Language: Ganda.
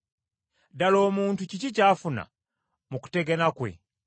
Ddala omuntu kiki ky’afuna mu kutegana kwe?